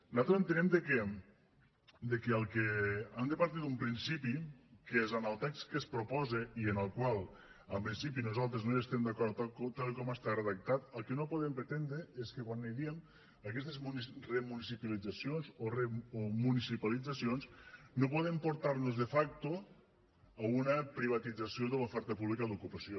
nosaltres entenem que del que han de partir d’un principi que és en el text que es proposa i amb el qual en principi nosaltres no hi estem d’acord tal com està redactat el que no podem pretendre és que quan diem aquestes remunicipalitzacions o municipalitzacions no podem portar nos de facto a una privatització de l’oferta pública d’ocupació